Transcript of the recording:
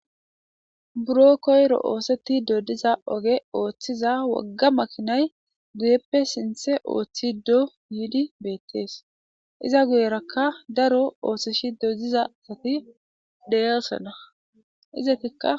Buro koyro osetido diza oge othiza wogga makinayi guyeppe sinthe oothido yiidi betesi. Iza guyeraka daro othisido diza asati de'osona, izetika....